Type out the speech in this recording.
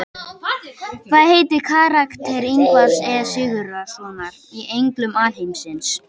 Hvað heitir karakter Ingvars E Sigurðssonar í Englum alheimsins?